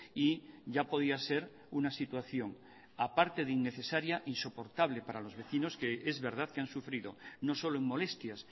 y ya podía ser una situación aparte de innecesaria insoportable para los vecinos que es verdad que han sufrido no solo en molestias